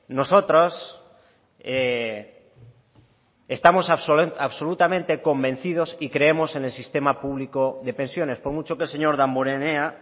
nosotros estamos absolutamente convencidos y creemos en el sistema público de pensiones por mucho que el señor damborenea